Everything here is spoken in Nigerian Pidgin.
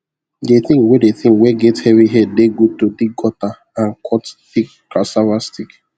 the thing wey the thing wey get heavy head dey good to dig gutter and cut thick cassava stick